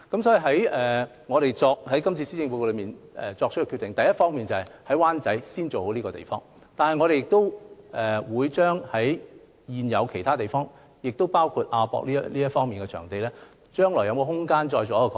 所以，我們在今次施政報告作出決定，第一方面，就是先做好灣仔北3座政府大樓拆卸和重建的計劃，同時亦會研究其他現有設施，包括亞博館等場地，將來有否空間進行擴展。